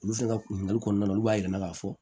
Olu fɛnɛ ka ɲininkali kɔnɔna la olu b'a yir'an na k'a fɔ